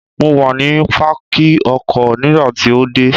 Mo wà ní Pákì ọkọ̀ nígbà tí o dé.